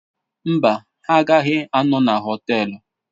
Mba, ha agaghị anọ na họtel.